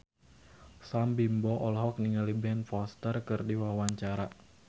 Sam Bimbo olohok ningali Ben Foster keur diwawancara